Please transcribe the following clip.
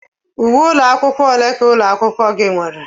Uwe ụlọ akwụkwọ ole ka ụlọ akwụkwọ gị nwere?